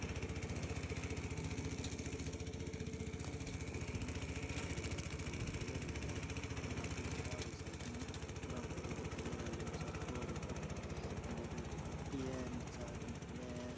Market है market मे building बड़ी सार कि बिल्डिंग बनी डिजाइना किया है दो पिलर है लाल कलर का एक साइड मे ब्राउन कलर का पिलर है लम्बो सार को और उपर नीला कलर की पट्टी है नीचे आदमी खड़या है।